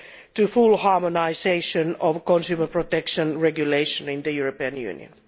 to full harmonisation of consumer protection regulation in the European Union.